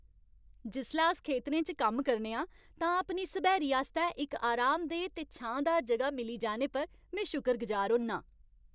जिसलै अस खेतरें च कम्म करने आं तां अपनी सब्हैरी आस्तै इक आरामदेह् ते छांऽदार जगह मिली जाने पर में शुकरगुजार होन्नां।